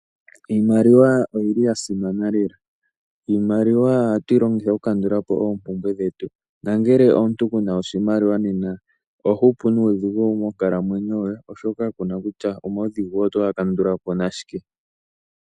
Iimaliwa oyili yasimana lela. Iimaliwa ohatu yi longitha okukandulapo oompumbwe dhetu . Ngele omuntu kuna oshimaliwa nena oho hupu nuudhigu monkalamwenyo yoye, oshoka kuna kutya omaudhigu otoga kandulapo nashike.